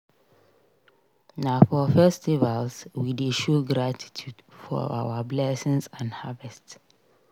Na for festivals we dey show gratitude for our blessings and harvest.